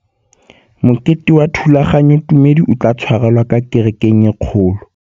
Mokete wa thulaganyôtumêdi o tla tshwarelwa kwa kerekeng e kgolo.